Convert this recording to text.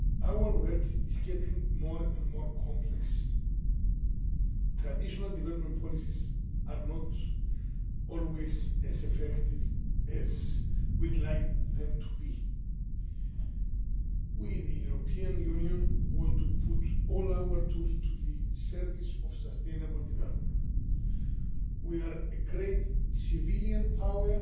Our world is becoming more and more complex. Traditional development policies are not always as effective as we would like them to be. We, the European Union, want to put all our tools at the service of sustainable development. We are a great civilian power